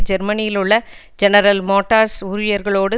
ஜேர்மனியிலுள்ள General Motors ஊழியர்களோடு